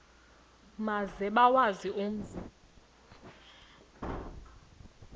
maze bawazi umzi